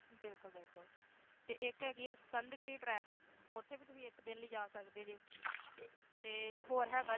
ਬਿਲਕੁਲ ਬਿਲਕੁਲ ਤੇ ਇਕ ਹੈਗੀ ਆ ਸਕੰਧਗੀਰੀ ਟਰੈਕ ਓਥੇ ਵੀ ਤੁਹੀ ਇਕ ਦਿਨ ਲਈ ਜਾ ਸਕਦੇ ਜੇ ਤੇ ਹੋਰ ਹੈਗਾ